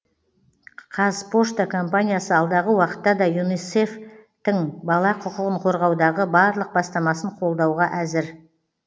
қазпошта компаниясы алдағы уақытта да юнисеф тің бала құқығын қорғаудағы барлық бастамасын қолдауға әзір